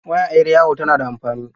Waya 'yar yawo tana da amfani.